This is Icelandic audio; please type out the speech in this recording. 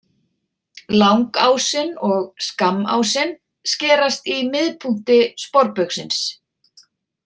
Langásinn og skammásinn skerast í miðpunkti sporbaugsins.